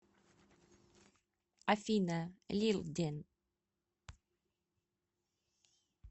афина лилден